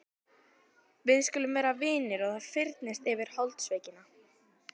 Við skulum vera vinir og það fyrnist yfir holdsveikina.